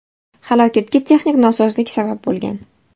Halokatga texnik nosozlik sabab bo‘lgan.